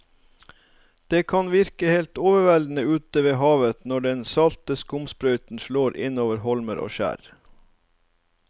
Det kan virke helt overveldende ute ved havet når den salte skumsprøyten slår innover holmer og skjær.